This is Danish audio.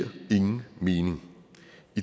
lige en